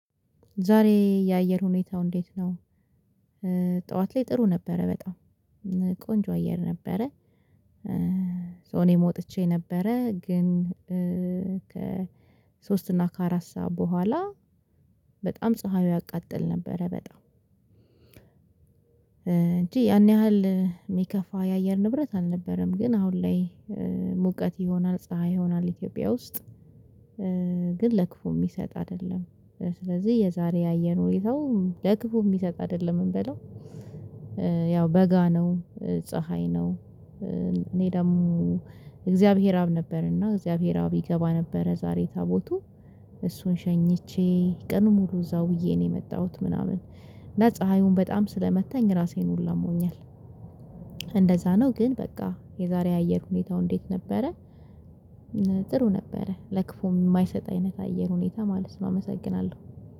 ዛሬ የአየር ሁኔታው እንዴት ነው? ጠዋት ላይ ጥሩ ነበረ በጣም። ቆንጆ አየር ነበረ። እኔም ወጥቼ ነበረ ግን ከሶስት እና ከአራት ሰዓት በኋላ በጣም ፀሀዩ ያቃጥል ነበረ በጣም። እንጂ ያን ያህል የሚከፋ የአየር ንብረት አልነበረም ግን አሁን ላይ ሙቀት ይሆናል ፥ፀሀይ ይሆናል ኢትዮጵያ ውስጥ ግን ለክፉ የሚሰጥ አይደለም። ስለዚህ የዛሬ የአየር ሁኔታው ለክፉ የሚሰጥ አይደለም እምበለው ያው በጋ ነው፥ ፀሀይ ነው፥ እኔ ደግሞ እግዚአብሔር አብ ነበርና እግዚአብሔር አብ ይገባ ነበረ ዛሬ ታቦቱ እሱን ሸኝቼ ቀኑን ሙሉ እዛው ውዬ ነው የመጣሁት ምናምን። እና ፀሀዩን በጣም ስለመታኝ ራሴን ሁላ አሞኛል እንደዛ ነው ግን በቃ የዛሬ የአየር ሁኔታው እንዴት ነበረ ጥሩ ነበረ ለክፉ የማይሰጥ አይነት አየር ሁኔታ ማለት ነው አመሰግናለሁ።